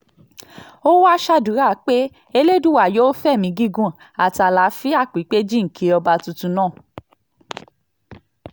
ó wáá ṣàdúrà pé elédùà yóò fẹ̀mí gígùn àti àlàáfíà pípé jíǹkí ọba tuntun náà